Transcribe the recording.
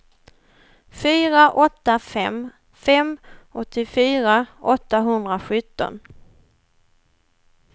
fyra åtta fem fem åttiofyra åttahundrasjutton